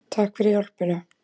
Takk fyrir hjálpina!